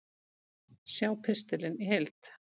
Sjá pistilinn í heild